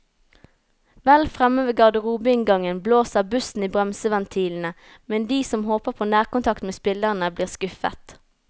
Vel fremme ved garderobeinngangen blåser bussen i bremseventilene, men de som håper på nærkontakt med spillerne, blir skuffet.